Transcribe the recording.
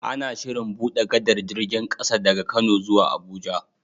Ana Shirin buɗe gadar jirgin ƙasa daga kano zuwa abuja